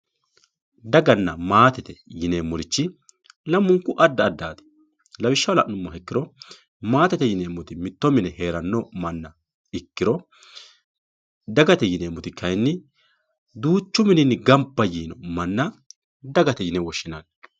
Daganna maatete yineemmorichi lamunku adda addati lawishshaho la'nuummoha ikkiro maatete yineemmoti mitto mine heerano manna ikkiro dagate yineemmoti kayinni duuchu mininni gamba yiino manna dagate yine woshshinanni.